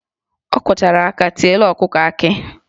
Ọ kụchara aka tiela ọkụkọ akị